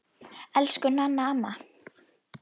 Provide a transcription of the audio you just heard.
Elsku Nanna amma.